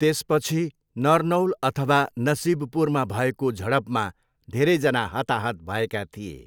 त्यसपछि, नरनौल अथवा नसिबपुरमा भएको झडपमा धेरैजना हताहत भएका थिए।